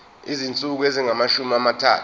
izinsuku ezingamashumi amathathu